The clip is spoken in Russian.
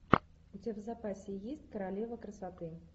у тебя в запасе есть королева красоты